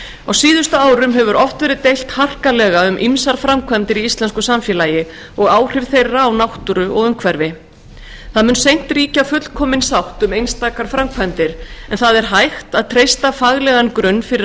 á síðustu árum hefur oft verið deilt harkalega um ýmsar framkvæmdir í íslensku samfélagi og áhrif þeirra á náttúru og umhverfi það mun seint ríkja fullkomin sátt um einstakar framkvæmdir en það er hægt að treysta faglegan grunn fyrir